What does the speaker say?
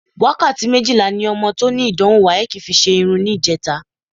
Wákàtí méjìlá ni ọmọ tó ní ìdánwò WAEC fi ṣe irun níjẹta